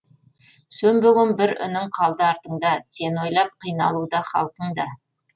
сөнбеген бір үнің қалды артыңда сені ойлап қиналуда халқың да